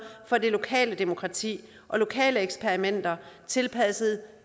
for det lokale demokrati og lokale eksperimenter tilpasset